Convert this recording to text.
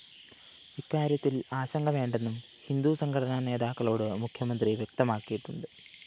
ഇക്കാര്യത്തില്‍ ആശങ്ക വേണ്ടെന്നും ഹിന്ദു സംഘടനാ നേതാക്കളോട് മുഖ്യമന്ത്രി വ്യക്തമാക്കിയിട്ടുണ്ട്